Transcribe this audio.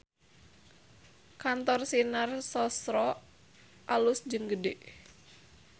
Kantor Sinar Sosro alus jeung gede